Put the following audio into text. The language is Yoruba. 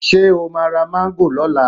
Ṣe o máa ra Máńgò lọ́la?